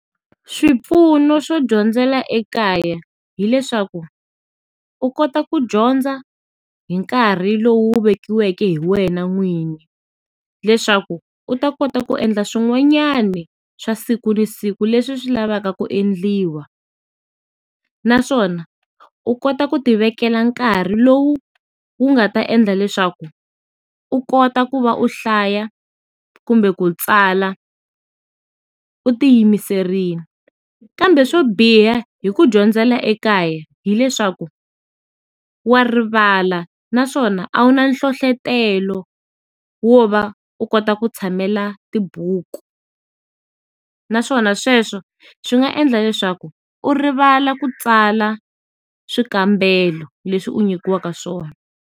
Swipfuno swo dyondzela ekaya hileswaku, u kota ku dyondza, hi nkarhi lowu wu vekiweke hi wena n'wini, leswaku u ta kota ku endla swin'wanyana swa siku na siku leswi swi lavaka ku endliwa. Naswona u kota ku ti vekela nkarhi lowu wu nga ta endla leswaku, u kota ku va u hlaya, kumbe ku tsala, u ti yimiserile. Kambe swo biha hi ku dyondzela ekaya hileswaku, wa rivala naswona a wu na nhlohlotelo wo va u kota ku tshamela tibuku. Naswona sweswo swi nga endla leswaku u rivala ku tsala swikambelo leswi u nyikiwaka swona.